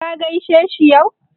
Ka gaishe shi yau?